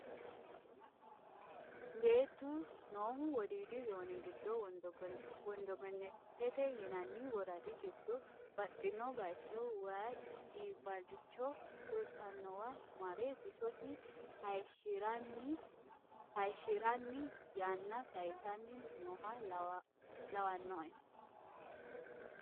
Beettu noohu Wodiidi zoone giddo wondogenete yinanni woradi giddo baxxino bayicho waayi iibbalicho fultanowa mare bisosi hayishshiranni yanna saysani nooha lawanoe.